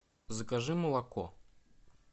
закажи молоко